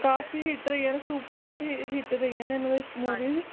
ਕਾਫੀ Hit ਰਹੀ ਹੈ Superhit ਰਹੀ ਹੈ ਇਹਨਾਂ ਦੀ Movie